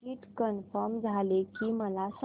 ticket confirm झाले की मला सांग